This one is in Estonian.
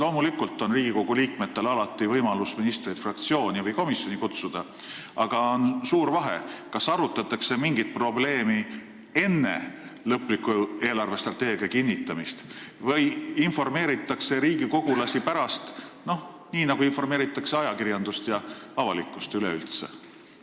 Loomulikult on Riigikogu liikmetel alati võimalus ministreid fraktsiooni või komisjoni kutsuda, aga on suur vahe, kas mingit probleemi arutatakse enne eelarvestrateegia lõplikku kinnitamist või informeeritakse riigikogulasi pärast, nii nagu informeeritakse ajakirjandust ja avalikkust üleüldse.